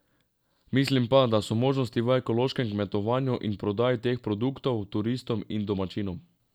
Mislim pa, da so možnosti v ekološkem kmetovanju in prodaji teh produktov turistom in domačinom.